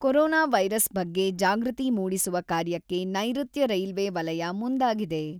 Corona virus ಬಗ್ಗೆ ಜಾಗೃತಿ ಮೂಡಿಸುವ ಕಾರ್ಯಕ್ಕೆ ನೈರುತ್ಯ ರೈಲ್ವೆ ವಲಯ ಮುಂದಾಗಿದೆ.